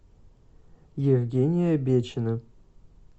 евгения бечина